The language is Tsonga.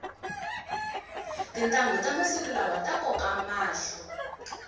tintanghu ta masiku lawa ta koka mahlo